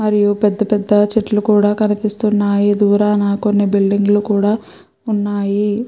మరియు పెద్ద పెద్ద చెట్లు కూడా కనిపిస్తున్నాయి. దూరాన కొన్ని బిల్డింగ్ లు కూడా ఉన్నాయి.